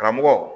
Karamɔgɔ